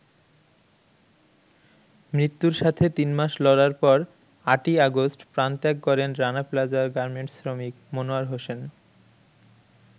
মৃত্যুর সাথে তিন মাস লড়ার পর ৮ই অগাষ্ট প্রাণত্যাগ করেন রানা প্লাজার গার্মেন্টস শ্রমিক মনোয়ার হোসেন।